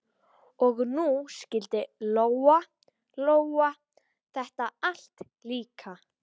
Og nú skildi Lóa-Lóa þetta allt líka.